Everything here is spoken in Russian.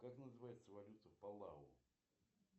как называется валюта палау